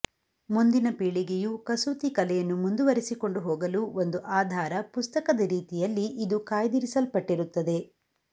ಮುಂದಿನ ಪೀಳಿಗೆಯು ಕಸೂತಿ ಕಲೆಯನ್ನು ಮುಂದುವರೆಸಿಕೊಂಡು ಹೋಗಲು ಒಂದು ಆಧಾರ ಪುಸ್ತಕದ ರೀತಿಯಲ್ಲಿ ಇದು ಕಾಯ್ದಿರಿಸಲ್ಪಟ್ಟಿರುತ್ತದೆ